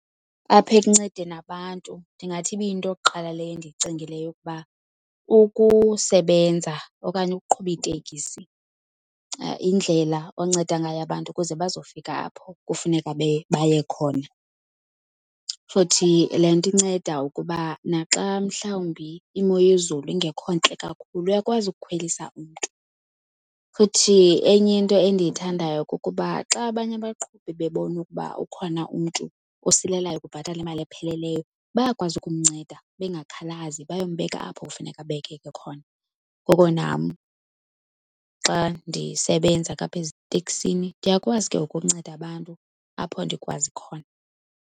Apha ekuncedeni abantu ndingathi ibiyinto yokuqala leyo endiyicingileyo ukuba ukusebenza okanye ukuqhuba iitekisi yindlela onceda ngayo abantu ukuze bazofika apho kufuneka baye khona. Futhi le nto inceda ukuba naxa mhlawumbi imo yezulu ingekho ntle kakhulu uyakwazi ukukhwelisa umntu. Futhi enye into endiyithandayo kukuba xa abanye abaqhubi bebona ukuba ukhona umntu osilelayo ukubhatala imali epheleleyo, bayakwazi ukumnceda bengakhalazi bayombeka apho kufuneka abekeke khona. Ngoko nam xa ndisebenza ke apha eziteksini ndiyakwazi ke ngoku unceda abantu apho ndikwazi khona.